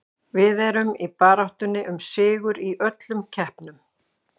Við erum í baráttunni um sigur í öllum keppnum.